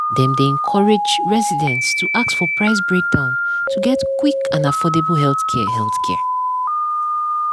dem dey encourage residents to ask for price breakdown to get quick and affordable healthcare. healthcare.